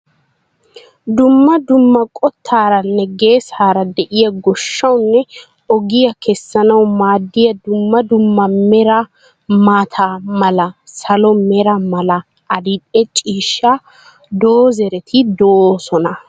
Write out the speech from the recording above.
Dumma dumma qottaaranne geesaara de'iya goshshawunne ogiya keessanawu maaddiya dumma dummaa meraea maata mala, salo mera mala adildhdhe ciishsha doozereti doosona.